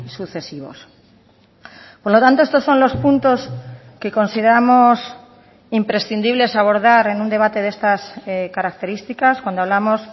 sucesivos por lo tanto estos son los puntos que consideramos imprescindibles abordar en un debate de estas características cuando hablamos